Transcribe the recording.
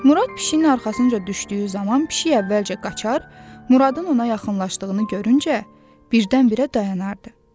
Murad pişiyin arxasınca düşdüyü zaman pişik əvvəlcə qaçar, Muradın ona yaxınlaşdığını görüncə birdən-birə dayanardı.